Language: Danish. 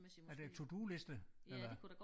Er det en to do-liste eller hvad